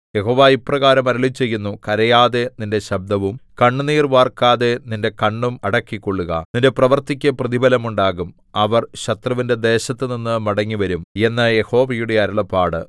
യഹോവ ഇപ്രകാരം അരുളിച്ചെയ്യുന്നു കരയാതെ നിന്റെ ശബ്ദവും കണ്ണുനീർ വാർക്കാതെ നിന്റെ കണ്ണും അടക്കിക്കൊള്ളുക നിന്റെ പ്രവൃത്തിക്കു പ്രതിഫലമുണ്ടാകും അവർ ശത്രുവിന്റെ ദേശത്തുനിന്ന് മടങ്ങിവരും എന്ന് യഹോവയുടെ അരുളപ്പാട്